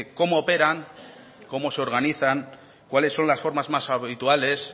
cómo operan cómo se organizan cuáles son las formas más habituales